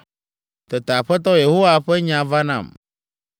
Tete Aƒetɔ Yehowa ƒe nya va nam.